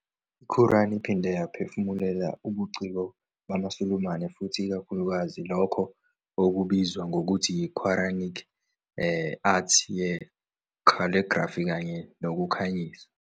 I-Quran iphinde yaphefumulela ubuciko bamaSulumane futhi ikakhulukazi lokho okubizwa ngokuthi yi-Quranic arts ye- calligraphy kanye nokukhanyisa.